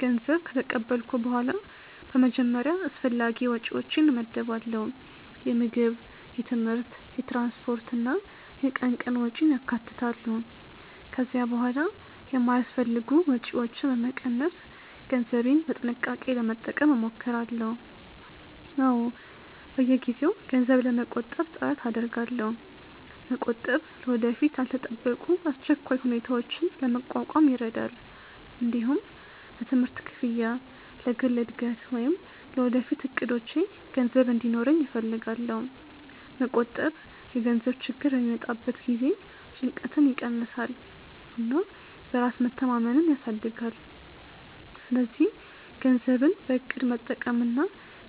ገንዘብ ከተቀበልኩ በኋላ በመጀመሪያ አስፈላጊ ወጪዎቼን እመድባለሁ። የምግብ፣ የትምህርት፣ የትራንስፖርት እና የቀን ቀን ወጪን ያካትታሉ። ከዚያ በኋላ የማይአስፈልጉ ወጪዎችን በመቀነስ ገንዘቤን በጥንቃቄ ለመጠቀም እሞክራለሁ። አዎ፣ በየጊዜው ገንዘብ ለመቆጠብ ጥረት አደርጋለሁ። መቆጠብ ለወደፊት ያልተጠበቁ አስቸኳይ ሁኔታዎችን ለመቋቋም ይረዳል። እንዲሁም ለትምህርት ክፍያ፣ ለግል እድገት ወይም ለወደፊት እቅዶቼ ገንዘብ እንዲኖረኝ እፈልጋለሁ። መቆጠብ የገንዘብ ችግር በሚመጣበት ጊዜ ጭንቀትን ይቀንሳል እና በራስ መተማመንን ያሳድጋል። ስለዚህ ገንዘብን በእቅድ መጠቀምና